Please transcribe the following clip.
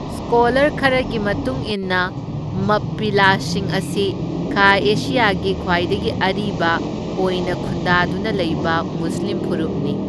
Scholar ꯈꯔꯒꯤ ꯃꯇꯨꯡ ꯏꯟꯅ ꯃꯞꯄꯤꯂꯥꯁꯤꯡ ꯑꯁꯤ ꯈꯥ ꯑꯦꯁꯤꯌꯥꯒꯤ ꯈ꯭ꯋꯥꯏꯗꯒꯤ ꯑꯔꯤꯕ ꯑꯣꯢꯅ ꯈꯨꯟꯗꯥꯗꯨꯅ ꯂꯩꯕ ꯃꯨꯁꯂꯤꯝ ꯐꯨꯔꯨꯞꯅꯤ꯫